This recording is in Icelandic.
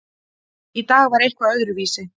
Í dag var eitthvað öðruvísi.